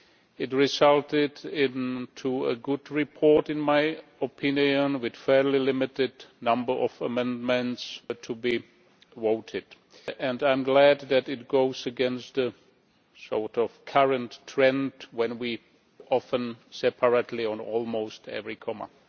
It resulted in a good report, in my opinion, with a fairly limited number of amendments to be voted and I am glad that it goes against the sort of current trend when we often vote separately on almost every point.